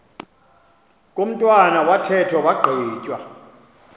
komntwana wathethwa wagqitywa